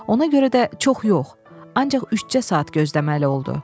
Ona görə də çox yox, ancaq üçcə saat gözləməli oldu.